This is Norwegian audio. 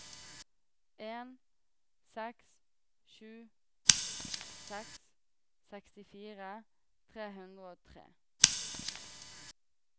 en seks sju seks sekstifire tre hundre og tre